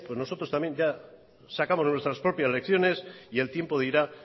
también nosotros sacamos nuestras propias lecciones y el tiempo dirá